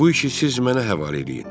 Bu işi siz mənə həvalə eləyin.